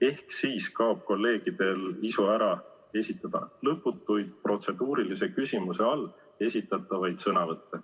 Ehk siis kaob kolleegidel ära isu esitada lõputuid protseduurilise küsimuse all esitatavaid sõnavõtte.